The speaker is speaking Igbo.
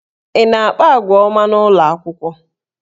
Ị na-akpa àgwà ọma n'ụlọ akwụkwọ?